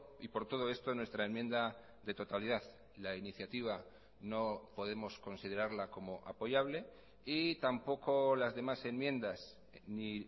y por todo esto nuestra enmienda de totalidad la iniciativa no podemos considerarla como apoyable y tampoco las demás enmiendas ni